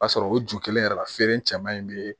O b'a sɔrɔ o ju kelen yɛrɛ la feere in cɛman in bɛ